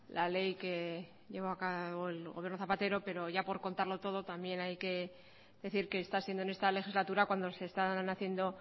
la ley que llevo a cabo el gobierno zapatero pero ya por contarlo todo también hay que decir que está siendo en esta legislatura cuando se están haciendo